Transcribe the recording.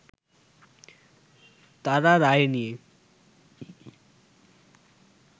তারা রায় নিয়ে